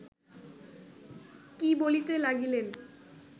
কি বলিতে লাগিলেন